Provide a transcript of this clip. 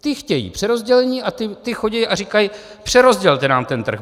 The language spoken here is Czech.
Ti chtějí přerozdělení a ti chodí a říkají: Přerozdělte nám ten trh.